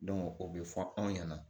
o bɛ fɔ anw ɲɛna